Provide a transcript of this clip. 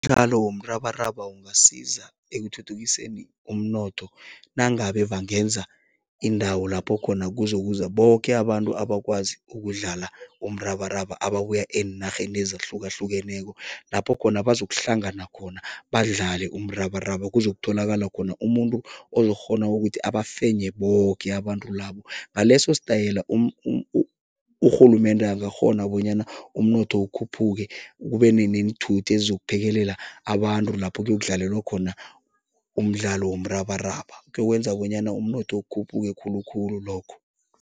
Umdlalo womrabaraba ungasiza ekuthuthukiseni umnotho nangabe bangenza iindawo lapho khona kuzokuza boke abantu abakwazi ukudlala umrabaraba ababuya eenarheni ezahlukahlukeneko, lapho khona bazokuhlangana khona badlale umrabaraba. Kuzokutholakala khona umuntu ozokukghona wokuthi abafenye boke abantu labo, ngaleso sitayela urhulumende angakghona bonyana umnotho ukhuphuke, kube neenthuthi ezizophekelela abantu lapho kuyokudlalelwa khona umdlalo womrabaraba, kuyokwenza bonyana umnotho ukukhuphuke khulukhulu lokho.